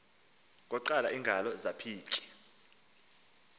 kwaqala iingalo zabhitya